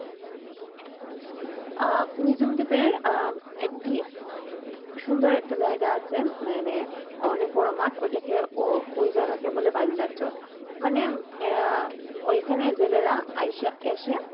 আহ নিঝুম দ্বীপের আহ একটি সুন্দর একটা জায়গা আছে মানে অনেক বড়ো মাঠ ওটাকে ও ওই জায়গাকে বলে বলিয়া চর মানে আহ ওইখানে জেলেরা এসে